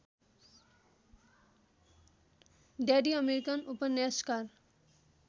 daddy American उपन्यासकार